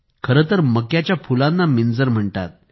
खरेतर मक्याच्या फुलांना मिंजर म्हणतात